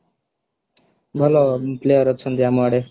ଭଲ player ଅଛନ୍ତି ଆମ ଆଡେ